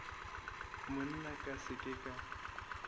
monna ka se ke ka